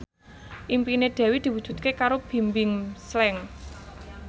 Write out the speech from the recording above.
impine Dewi diwujudke karo Bimbim Slank